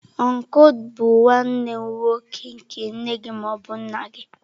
Ọncụl bụ nwanne nwoke nke nne gị ma ọ bụ nna gị.